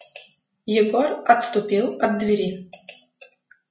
егор отступил от двери